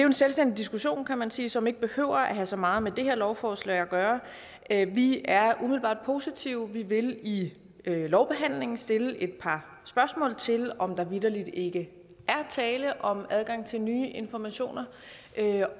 en selvstændig diskussion kan man sige som ikke behøver at have så meget med det her lovforslag at gøre vi er umiddelbart positive vi vil i lovbehandlingen stille et par spørgsmål til om der vitterligt ikke er tale om adgang til nye informationer